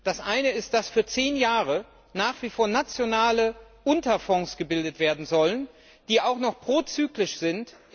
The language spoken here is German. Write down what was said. Das eine ist, dass für zehn Jahre nach wie vor nationale Unterfonds gebildet werden sollen, die auch noch prozyklisch sind.